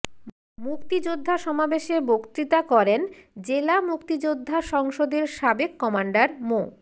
মুক্তিযোদ্ধা সমাবেশে বক্তৃতা করেন জেলা মুক্তিযোদ্ধা সংসদের সাবেক কমান্ডার মো